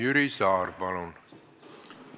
Jüri Saar, palun!